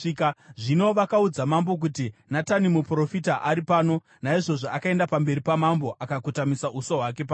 Zvino vakaudza mambo kuti, “Natani muprofita ari pano.” Naizvozvo akaenda pamberi pamambo, akakotamisa uso hwake pasi.